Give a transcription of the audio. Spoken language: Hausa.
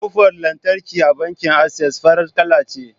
Kofar lantarki a bankin Access farar kala ce.